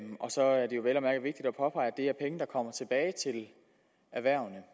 påpege at det er penge der kommer tilbage til erhvervene